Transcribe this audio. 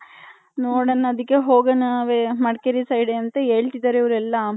ನೋಡನ ಅದಿಕ್ಕೆ ಹೋಗಣ ಮಡಕೇರಿ side ಅಂತ ಹೆಕ್ತಿದರೆ ಇವರ್ಯೆಲ್ಲ .